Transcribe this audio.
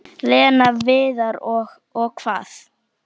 Lena, Viðar og- Og hvað?